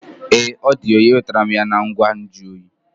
Ee, ọ di oyi. Enwetara m ya na ngwa nju oyi